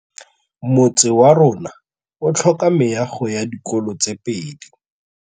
Motse warona o tlhoka meago ya dikolô tse pedi.